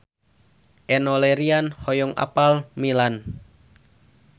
Enno Lerian hoyong apal Milan